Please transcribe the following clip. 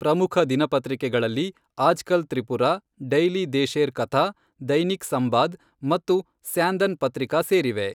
ಪ್ರಮುಖ ದಿನಪತ್ರಿಕೆಗಳಲ್ಲಿ ಆಜ್ಕಲ್ ತ್ರಿಪುರ, ಡೈಲಿ ದೇಶೇರ್ ಕಥಾ, ದೈನಿಕ್ ಸಂಬಾದ್ ಮತ್ತು ಸ್ಯಾಂದನ್ ಪತ್ರಿಕಾ ಸೇರಿವೆ.